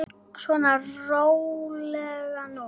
Svona, rólegur nú.